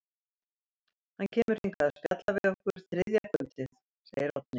Hann kemur hingað að spjalla við okkur þriðja kvöldið, segir Oddný.